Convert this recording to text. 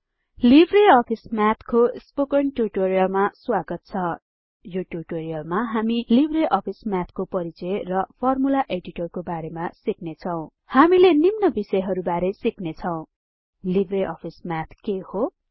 Libre Office म्याथको spoken टिउटोरियलमा स्वागत छ यो टिउटोरियलमा हामी लिब्रे अफिस म्याथको परिचय र फर्मुला एडिटरको बारेमा सिक्नेछौं हामीले निम्न विषयहरू बारे सिक्नेछौं लिब्रे अफिस म्याथ के हो160